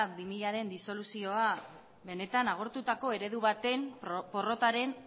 bi milaren disoluzioa benetan agortutako eredu baten porrotaren